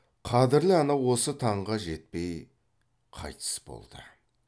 қадірлі ана осы таңға жетпей қайтыс болды